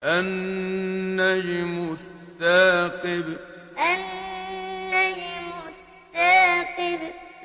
النَّجْمُ الثَّاقِبُ النَّجْمُ الثَّاقِبُ